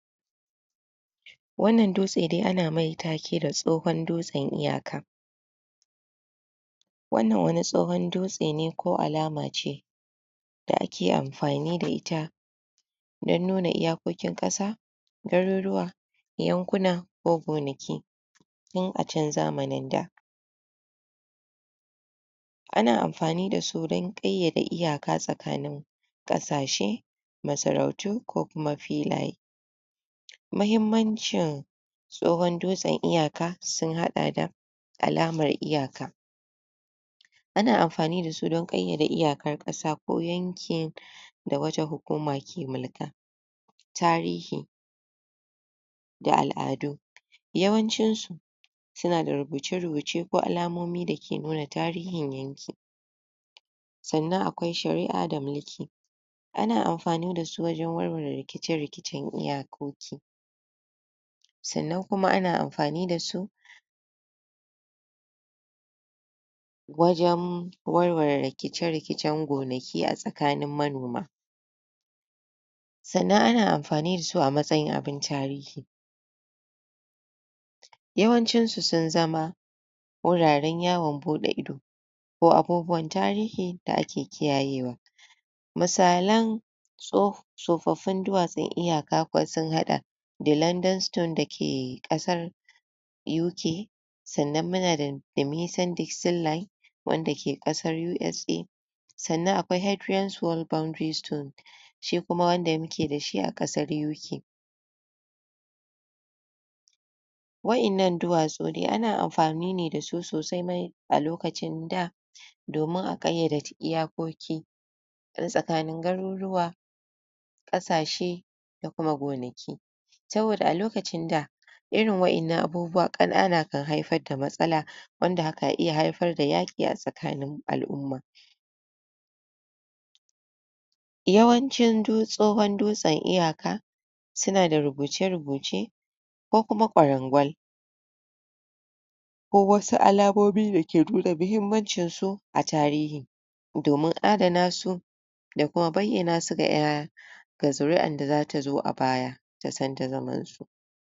Wannan dutse dai ana mai take da tsohon dutsen iyaka: wanann wani tsohon dutse ne ko alama ce da ake amfani da ita, don nuna iyakokin ƙasa, garuruwa, yankuna, ko gonakin, tun a chan zamanin daː Ana amfani dasu don ƙayyade iya ka tsakanin ƙasashe, masarautu, ko kuma filaye. Muhimmancin tsohon dutsen iyaka sun haɗa da; alamar iyaka: a na amfani da su don ƙayyade iyakar ƙasa, ko yankin da wata hukuma ke mulka. Tarihi da alʼadu; yawancin su suna da rubuce-rubuce ko alamomin da ke nuna tarihin yanki, sannan a kwai shariʼa da mulki. Ana amfani da su wajen warware rikice-rikicen iyakoki, sannan kuma ana amfani dasu wajen warware rikice-rikicen gonaki a tsakanin manoma. Sannan ana amfani dasu a matsayin abin tarihi; yawancin su sun zama wuraren yawon buɗe ido, ko abubuwan tarihi da ake kiyayewa. Misalan? tsofaffin duwatsun iyaka kuwa sun haɗa da; landan stone da ke kasar UK, sannan muna da missan diksan like wanda ke ƙasar USA, sannan akwai headrians world boundary stone shi kuma wanda mu ke dashi a ƙasar UK. Waʼinnan duwatsu dai ana amfani ne dasu sosai a lokacin daː, domin a kayyade iyakoki, don tsakanin garuruwa, ƙasashe, da kuma gonaki. Saboda a lokacin daː irin waɗannan abubuwa ƙanana kan iya haifar da matsala, wanda ka iya haifar da yaƙi a tsakanin alʼumma. Yawancin? tsohon dutsen iyaka, suna da rubuce-rubuce, ko kuma ƙwarangwal, ko wasu alamomi da ke nuna muhimmancin su a tarihi, domin adana su, da kuma bayyana su ga? ga zuriyar da zata zo a baya, ta san da zamn su.